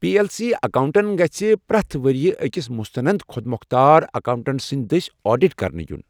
P L C اکاونٛٹسن گژھ پرٛٮ۪تھ ؤری أکس مستند خۄد مۄختار اکاوٹنٛٹ سٕنٛدِ دٔسۍ آڈٹ کرنہٕ ین۔